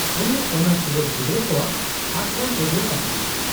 -ᱩᱱᱤ ᱚᱱᱟ ᱴᱩᱣᱟᱹᱨ ᱜᱤᱫᱽᱨᱟᱹ ᱠᱚᱣᱟᱜ ᱟᱥᱨᱚᱢ ᱨᱮᱜᱮᱭ ᱛᱟᱦᱮᱱᱟ ᱾